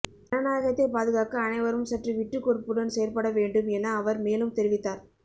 ஜனநாயகத்தை பாதுகாக்க அனைவரும் சற்று விட்டுக் கொடுப்புடன் செயற்பட வேண்டும் என அவர் மேலும் தெரிவித்தார்